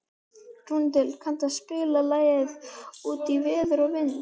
Rúnhildur, kanntu að spila lagið „Út í veður og vind“?